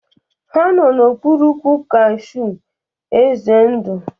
Ha no n'okpuru ụkwụ kashew eze ndo